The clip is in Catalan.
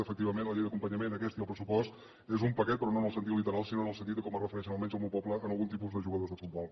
efectivament la llei d’acompanyament aquesta i el pressupost són un paquet però no en el sentit literal sinó en el senti de com es refereixen almenys al meu poble a algun tipus de jugadors de futbol